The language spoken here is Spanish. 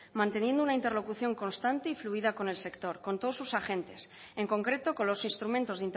manteniendo una interlocución constante y fluida con el sector con todos sus agentes en concreto con los instrumentos